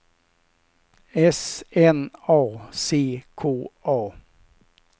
S N A C K A